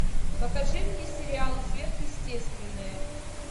покажи мне сериал сверхъестественное